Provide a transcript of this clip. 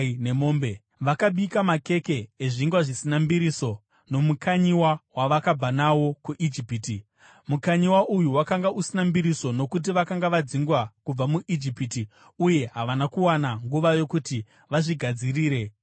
Vakabika makeke ezvingwa zvisina mbiriso nomukanyiwa wavakabva nawo kuIjipiti. Mukanyiwa uyu wakanga usina mbiriso nokuti vakanga vadzingwa kubva muIjipiti uye havana kuwana nguva yokuti vazvigadzirire zvokudya.